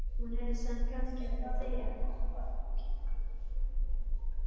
Hún hefði samt kannski átt að þegja.